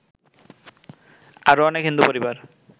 আরো অনেক হিন্দু পরিবার